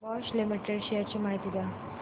Bosch limited shares ची माहिती द्या